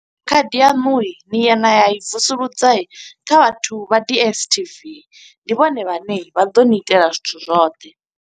Khadi yaṋu ni ya na i vusuludza kha vhathu vha DSTV. Ndi vhone vhane vha ḓo ni itela zwithu zwoṱhe.